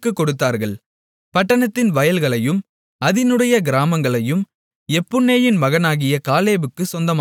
பட்டணத்தின் வயல்களையும் அதினுடைய கிராமங்களையும் எப்புன்னேயின் மகனாகிய காலேபுக்குச் சொந்தமாகக் கொடுத்தார்கள்